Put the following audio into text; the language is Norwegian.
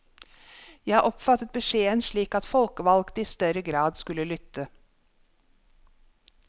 Jeg oppfattet beskjeden slik at folkevalgte i større grad skulle lytte.